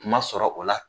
Kuma sɔrɔ o la